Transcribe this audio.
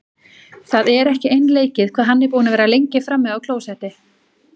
Það er ekki einleikið hvað hann er búinn að vera lengi frammi á klósetti!